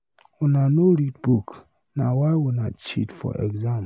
Una no read book, na why una cheat for exam.